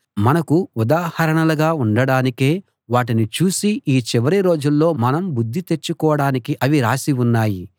నాశనమయ్యారు మనకు ఉదాహరణలుగా ఉండడానికే వాటిని చూసి ఈ చివరి రోజుల్లో మనం బుద్ధి తెచ్చుకోడానికి అవి రాసి ఉన్నాయి